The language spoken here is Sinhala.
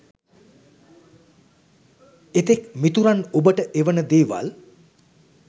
එතෙක් මිතුරන් ඔබට එවන දේවල්